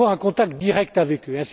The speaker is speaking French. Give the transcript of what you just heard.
etc. pour avoir un contact direct avec